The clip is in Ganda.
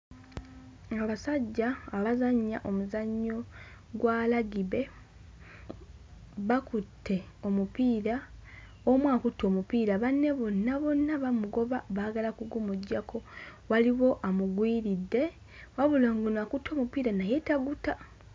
Abasajja abazannya omuzannyo gwa lagibe bakutte omupiira, omu akutte omupiira banne bonna bonna bamugoba baagala kugumuggyako. Waliwo amugwiridde wabula ono akutte omupiira naye taguta.